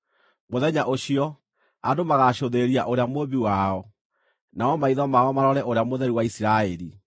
Mũthenya ũcio, andũ magaacũthĩrĩria Ũrĩa Mũũmbi wao, namo maitho mao marore Ũrĩa Mũtheru wa Isiraeli.